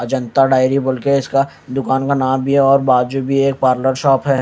और जनता डायरी बोलके इसका दुकान का नाम भी है और बाजू भी एक पार्लर शॉप है--